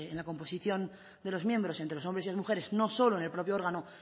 la composición de los miembros entre los hombres y las mujeres no solo en el propio órgano